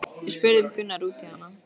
Við spurðum Gunnar út í hana?